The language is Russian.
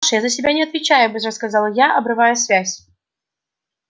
паша я за себя не отвечаю быстро сказал я обрывая связь